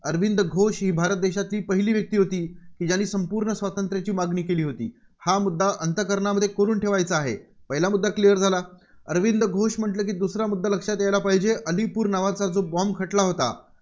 अरविंद घोष ही भारत देशाची पहिली व्यक्ती होती की ज्यांनी संपूर्ण स्वातंत्र्याची मागणी केली होती. हा मुद्दा अंतःकरणामध्ये कोरून ठेवायचा आहे. पहिला मुद्दा clear झाला. अरविंद घोष म्हटलं की दुसरा मुद्दा लक्षात यायला पाहिजे अलीपूर नावाचा जो bomb खटला होता,